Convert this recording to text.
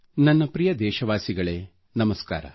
ನನ್ನ ಪ್ರಿಯ ದೇಶವಾಸಿಗಳೇ ನಮಸ್ಕಾರ